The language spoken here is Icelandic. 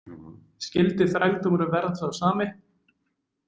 Skyldi þrældómurinn verða sá sami?